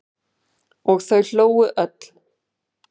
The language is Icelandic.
Og þau hlógu öll.